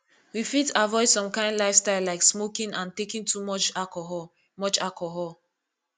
we fit avoid some kind lifestyle like smoking and taking too much alcohol much alcohol